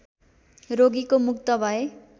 रोगीको मुक्त भए